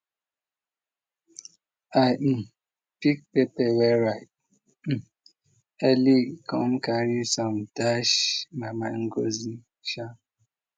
i um pick peper wey ripe um early come carry some dash mama ngozi um